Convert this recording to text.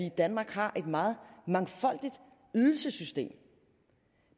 i danmark har et meget mangfoldigt ydelsessystem